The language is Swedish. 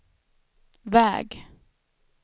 väg